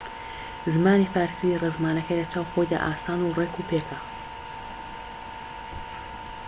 زمانی فارسی ڕێزمانەکەی لەچاو خۆیدا ئاسان و ڕێكوپێکە